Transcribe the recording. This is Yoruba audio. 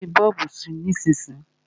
Má fí bọ́ọ̀bù sí nísísíyí.